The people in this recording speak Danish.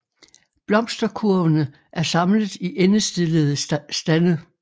Blomsterkurvene er samlet i endestillede stande